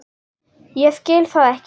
Ég skil það ekki!